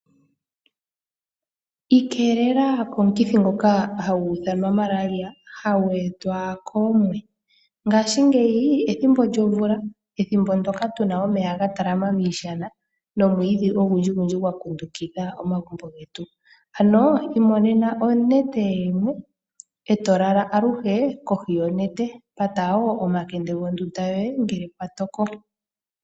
Ikeelela komukithi ngoka hagu ithanwa Malaria, hagu etwa koomwe. Ngashingeyi ethimbo lyomvula, ethimbo ndyoka tu na omeya ga talama miishana nomwiidhi ogundjigundji gwa kundukidha omagumbo getu. Ano imonena onete yoomwe, e to lala aluhe kohi onete. Pata wo omakende gondunda yoye ngele kwa toko.